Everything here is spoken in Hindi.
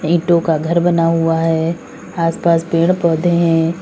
ईंटो का घर बना हुआ है आसपास पेड़ पौधे हैं।